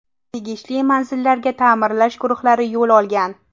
Tegishli manzillarga ta’mirlash guruhlari yo‘l olgan.